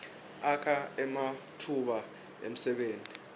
akha ematfuba emsebenti